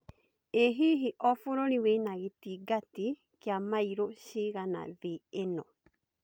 ĩ hihi o bũrũri wĩna gĩtangati kia mairo cigana thĩ ĩno